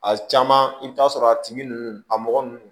A caman i bɛ taa sɔrɔ a tigi ninnu a mɔgɔ ninnu